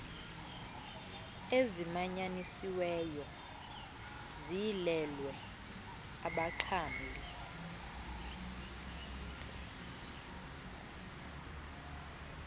ezimanyanisiweyo ziyilelwe abaxhamli